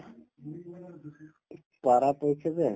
পৰাপক্ষে যে